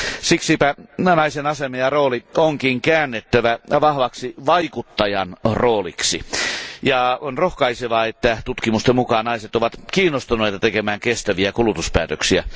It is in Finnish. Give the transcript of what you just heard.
Siksipä naisen asema ja rooli onkin käännettävä vahvaksi vaikuttajan rooliksi. On rohkaisevaa, että tutkimusten mukaan naiset ovat kiinnostuneita tekemään kestäviä kulutuspäätöksiä.